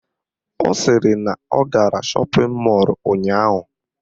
Ọ sịrị na ọ gara shọpịn mọlụ ụnyaahụ